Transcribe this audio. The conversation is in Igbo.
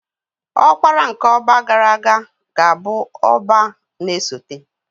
Ọkpara nke Ọbá gara aga ga-abụ Ọbá na-esote